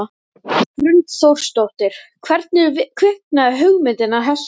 Hrund Þórsdóttir: Hvernig kviknaði hugmyndin að þessu?